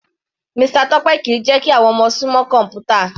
Mr Tope kìí jẹ́ kí àwọn ọmọ sún mọ́ kọ̀mpútà.